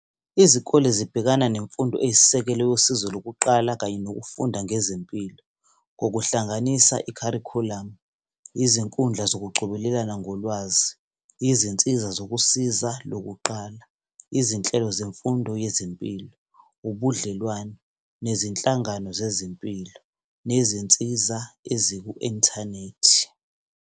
Izikole zibhekana nemfundo eyisisekelo yosizo lokuqala kanye nokufunda ngezempilo, ngokuhlanganisa ikharikhulamu, izinkundla zokucobelelana ngolwazi, izinsiza zokusiza lokuqala, izinhlelo zemfundo yezempilo, ubudlelwano nezinhlangano zezempilo nezinsiza eziku-inthanethi.